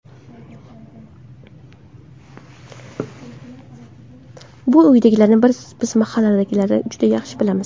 Bu uydagilarni biz mahalladagilar juda yaxshi bilamiz.